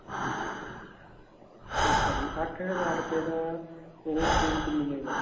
ਅੱਛਾ ਜੀ ਅੱਠ ਹਜ਼ਾਰ ਰੂਪਏ ਦਾ ਉਹ suit ਮਿਲੇਗਾ